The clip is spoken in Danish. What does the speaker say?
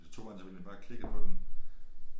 Så tog han selvfølgelig bare og klikkede på den